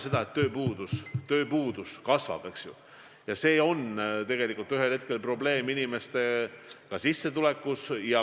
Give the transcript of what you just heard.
Aga me näeme, et tööpuudus kasvab, ja see probleem annab ühel hetkel tunda inimeste sissetulekutes.